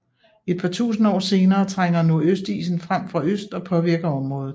Et par tusinde år senere trænger Nordøstisen frem fra øst og påvirker området